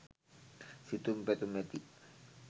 සිතුම් පැතුම් ඇති